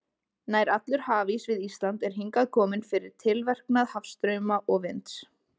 Nær allur hafís við Ísland er hingað kominn fyrir tilverknað hafstrauma og vinds.